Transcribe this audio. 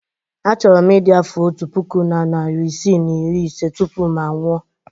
Achọrọ m ịdị afọ otu puku na narị isii na iri ise tupu m anwụọ.